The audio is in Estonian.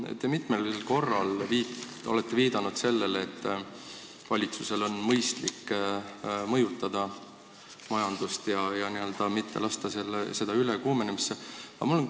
Te olete mitmel korral viidanud selle, et valitsusel on mõistlik majandust mõjutada ja mitte lasta seda ülekuumenemisse.